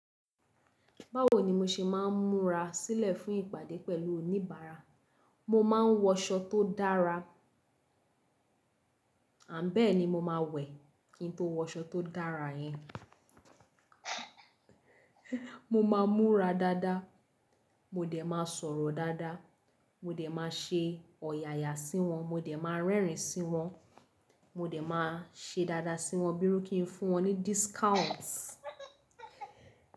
Báwo ni mo ṣe máa ń múra sílẹ̀ fún ìpàdé pẹ̀lú oníbàárà? Mo máa ń wọṣọ tó dára, ànbẹ́ẹ̀ni mo máa wẹ̀ kí n tó wọ aṣọ tó dára yen. Mo máa múra dáadáa, mo dẹ̀ máa sọ̀rọ̀ dáadáa, mo dẹ̀ máa ṣe ọ̀yàyà sí wọn, mo dẹ̀ máa rẹ́rìn-ín sí wọn, mo dẹ̀ máa ṣe dáadáa sí wọn bí iru kí n fún wọn ní discount.